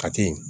Ka te